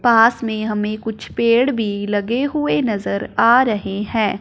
पास में हमें कुछ पेड़ भी लगे हुए नज़र आ रहे हैं।